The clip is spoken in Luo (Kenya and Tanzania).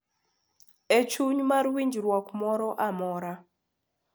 E chuny mar winjruok moro amora,